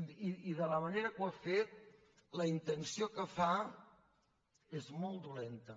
i de la manera que ho ha fet la intenció que fa és molt dolenta